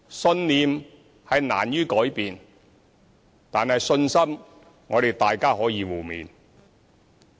信念難於改變，但信心，我們可以互勉。